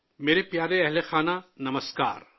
میرے پیارے پریوار جن، نمسکار